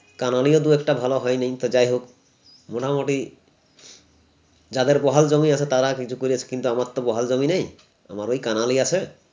কাননীয় দুএকটা ভালো হয়নি তা যাইহোক মোটামুটি যাদের বহাল জমি আছে তারা কিন্তু করেছে কিন্তু আমার তো বহাল জমি নেই আমার ঐ কাঙালই আছে